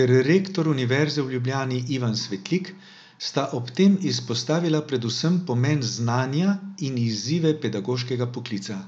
ter rektor Univerze v Ljubljani Ivan Svetlik sta ob tem izpostavila predvsem pomen znanja in izzive pedagoškega poklica.